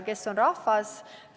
Kes on rahvas?